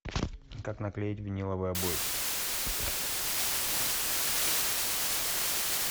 как наклеить виниловые обои